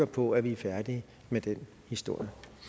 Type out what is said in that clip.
på at vi er færdige med den historie